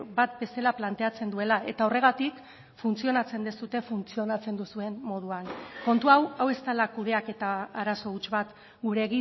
bat bezala planteatzen duela eta horregatik funtzionatzen duzue funtzionatzen duzuen moduan kontu hau hau ez dela kudeaketa arazo huts bat gure